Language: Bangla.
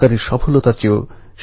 নাকচ করে দিতে থাকেন